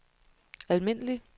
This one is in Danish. almindelig